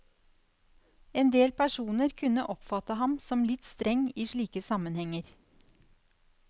Endel personer kunne oppfatte ham som litt streng i slike sammenhenger.